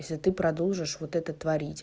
если ты продолжишь вот это творить